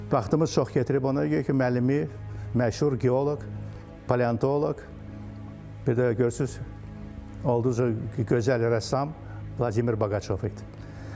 Vaxtımız çox gətirib ona görə ki, müəllimi məşhur geoloq, paleontoloq, bir də görürsüz o gözəl rəssam Vladimir Boqaçov idi.